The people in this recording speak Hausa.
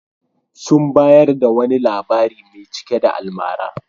Sun bayar da wani labari mai cike da almara.